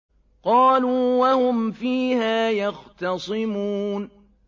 قَالُوا وَهُمْ فِيهَا يَخْتَصِمُونَ